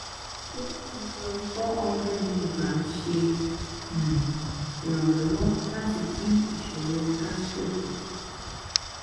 se evion 400mg se um iranlowo lati din isoro gastro ku